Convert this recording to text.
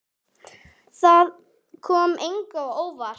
Það kom engum á óvart.